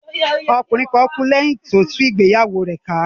Ọkùnrin kan kú lẹ́yìn tí ó tú ìgbéyàwó rẹ̀ ká